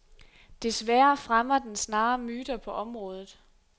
Desværre fremmer den snarere myter på området.